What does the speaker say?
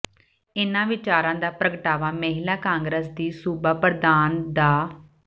ਇਨ੍ਹਾਂ ਵਿਚਾਰਾਂ ਦਾ ਪ੍ਰਗਟਾਵਾ ਮਹਿਲਾ ਕਾਂਗਰਸ ਦੀ ਸੂਬਾ ਪ੍ਰਧਾਨ ਡਾ